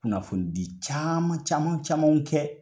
Kunnafoni di caman caman camanw kɛ.